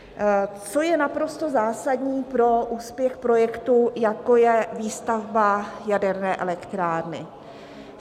Co je naprosto zásadní pro úspěch projektu, jako je výstavba jaderné elektrárny?